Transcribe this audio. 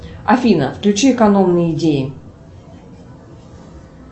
афина включи экономные идеи